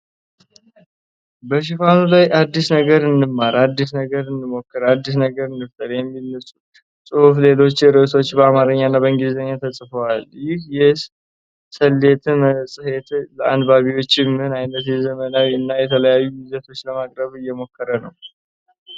በሽፋኑ ላይ “አዲስ ነገር እንማራለን፣ አዲስ ነገር እንሞክራለን፣ አዲስ ነገር እንፈጥራለን” የሚል ጽሑፍና ሌሎች ርዕሶች በአማርኛ እና በእንግሊዝኛ ተጽፈዋል። ይህ የ"ሰሌት" መጽሔት፣ ለአንባቢዎች ምን አይነት ዘመናዊ እና የተለያዩ ይዘቶችን ለማቅረብ እየሞከረ ነው?